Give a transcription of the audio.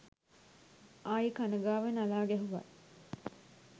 ආයි කන ගාව නලා ගැහැව්වත්